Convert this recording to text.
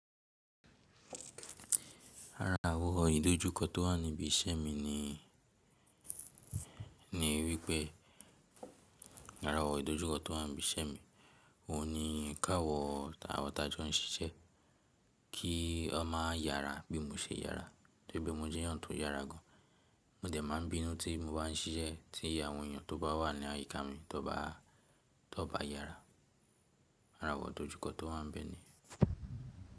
Ara àwọn idojukọ tó wà níbi iṣẹ́ mi ni, ni wípẹ́ ara àwọn idojukọ tó wà níbi iṣẹ́ mi, òun ni káwọ̀ áwọn tajọ ń ṣiṣẹ́, kí ó má yára bí mo ṣe yára. Tóripe mo jẹ́yàn tó yára gan, mo dẹ̀ máa ń bínú tí mo bá ń ṣiṣẹ́, tí àwón èèyàn tó bá wà ní àyíká mi tó bá, tó bá yára. Ara àwọ̀n idojukọ tó wà níbẹ̀ niyen.